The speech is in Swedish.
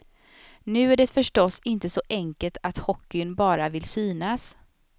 Nu är det förstås inte så enkelt att hockeyn bara vill synas.